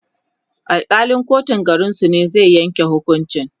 Alkalin kotun garinsu ne zai Yanke hukuncin